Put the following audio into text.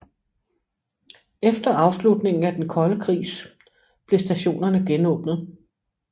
Efter afslutningen af den kolde krigs blev stationerne genåbnet